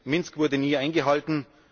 Minsk wurde nie eingehalten.